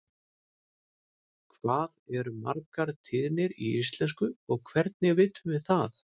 hvað eru margar tíðir í íslensku og hvernig vitum við það